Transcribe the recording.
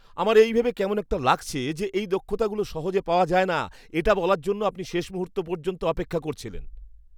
আমার এই ভেবে কেমন একটা লাগছে যে এই দক্ষতাগুলো সহজে পাওয়া যায় না এটা বলার জন্য আপনি শেষ মুহূর্ত পর্যন্ত অপেক্ষা করছিলেন।